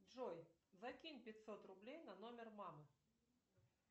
джой закинь пятьсот рублей на номер мамы